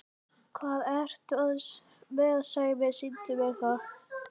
Hvað ertu með Sæmi, sýndu mér það!